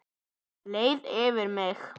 Leið yfir mig?